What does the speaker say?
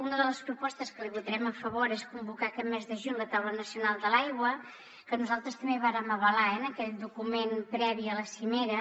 una de les propostes que li votarem a favor és convocar aquest mes de juny la taula nacional de l’aigua que nosaltres també vàrem avalar en aquell document previ a la cimera